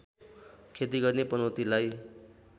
खेती गर्ने पनौतीलाई